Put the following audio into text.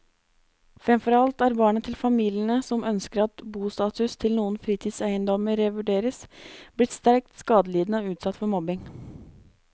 Fremfor alt er barna til familiene som ønsker at bostatus til noen fritidseiendommer revurderes, blitt sterkt skadelidende og utsatt for mobbing.